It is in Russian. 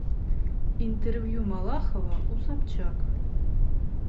интервью малахова у собчак